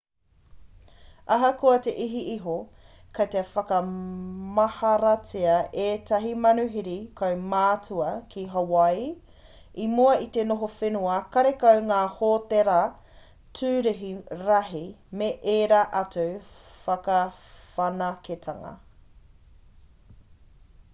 ahakoa he iti iho kei te whakamaharatia ētahi manuhiri kaumātua ki hawaaii i mua i te noho whenua karekau ngā hōtēra tūrihi rahi me ērā atu whakawhanaketanga